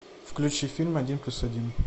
включи фильм один плюс один